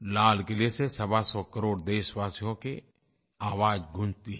लाल क़िले से सवासौ करोड़ देशवासियों की आवाज़ गूँजती है